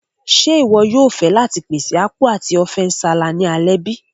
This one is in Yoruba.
Ṣe iwọ yóò fẹ láti pèsè Apku ati Ofe nsala ni alẹ́ bi?